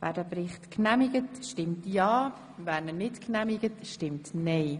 Wer diesen Bericht genehmigt, stimmt ja, wer ihn nicht genehmigt, stimmt nein.